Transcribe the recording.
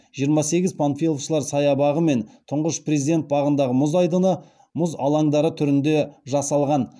жиырма сегіз панфиловшылар саябағы мен тұңғыш президент бағындағы мұз айдыны мұз алаңдары түрінде жасалған